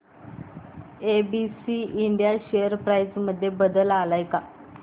ABC India share price मध्ये बदल आलाय का